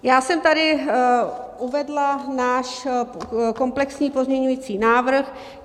Já jsem tady uvedla náš komplexní pozměňovací návrh.